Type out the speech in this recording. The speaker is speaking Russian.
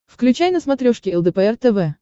включай на смотрешке лдпр тв